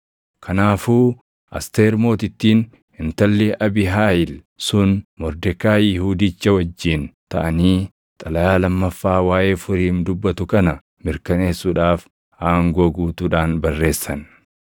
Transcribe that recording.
Kanaafuu Asteer Mootittiin intalli Abiihaayil sun Mordekaayi Yihuudicha wajjin taʼanii xalayaa lammaffaa waaʼee Furiim dubbatu kana mirkaneessuudhaaf aangoo guutuudhaan barreessan.